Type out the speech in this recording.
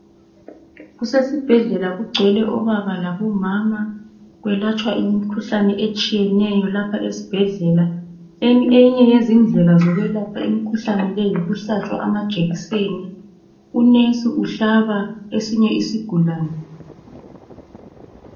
Kusesibhedlela, kugcwele obaba labomama. Kwelatshwa imkhuhlane etshiyeneyo lapha esibhedlela. Eyinye yezindlela zokwelapha imkhuhlane leyi yikuhlatshwa amajekiseni. Unesi uhlaba esinye isigulane.